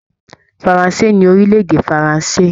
Faransé ni èdè orilẹ-èdè Faransé.